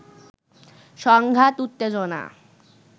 সংঘাত উত্তেজনা